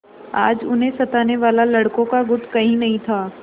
आज उन्हें सताने वाला लड़कों का गुट कहीं नहीं था